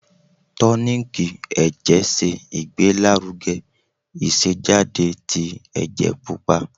Tonik ẹ̀jẹ̀ se Igbelaruge isejade ti ẹjẹ pupa.